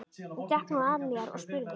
Hún gekk nú að mér og spurði